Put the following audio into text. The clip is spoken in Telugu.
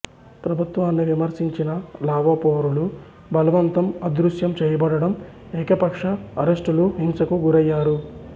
ప్రభుత్వాన్ని విమర్శించిన లావో పౌరులు బలవంతం అదృశ్యం చేయబడడం ఏకపక్ష అరెస్టులు హింసకు గురయ్యారు